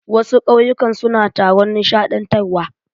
Wasu ƙauyukan suna taron nishaɗantarwa.